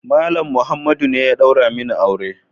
Malam Muhammadu ne ya daura min aure.